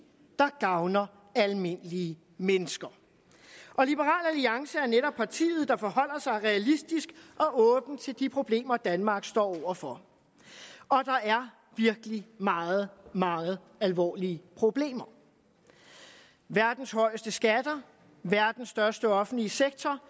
der gavner almindelige mennesker liberal alliance er netop partiet der forholder sig realistisk og åben til de problemer danmark står over for og der er virkelig meget meget alvorlige problemer verdens højeste skatter verdens største offentlige sektor